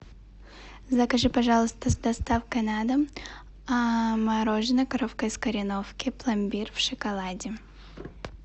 закажи пожалуйста с доставкой на дом мороженое коровка из кореновки пломбир в шоколаде